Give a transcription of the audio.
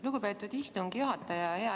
Lugupeetud istungi juhataja!